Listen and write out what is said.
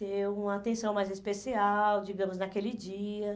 Ter uma atenção mais especial, digamos, naquele dia.